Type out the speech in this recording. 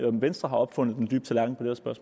om venstre har opfundet